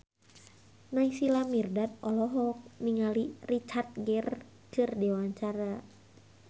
Naysila Mirdad olohok ningali Richard Gere keur diwawancara